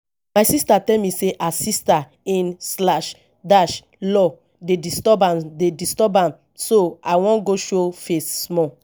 my sister tell me say her sister in slash dash law dey disturb am dey disturb am so i wan go show face small